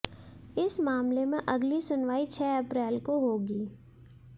इस मामले में अगली सुनवाई छह अप्रैल को होगी